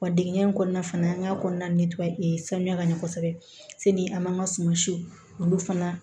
Wa digɛn in kɔnɔna fana an ka kɔnɔna sanuya ka ɲɛ kosɛbɛ seli an b'an ka suma siw olu fana